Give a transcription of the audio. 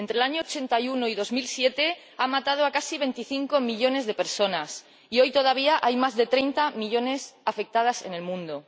Entre 1981 y 2007 mató a casi 25 millones de personas y hoy todavía hay más de 30 millones afectadas en el mundo.